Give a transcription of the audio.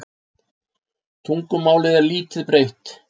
Tungumálið er lítt breytt.